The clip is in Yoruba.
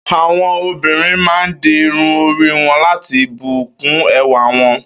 Àwo̩n obìnrin máa ń di irun orí wo̩n la̩ti bù kún e̩wà wo̩n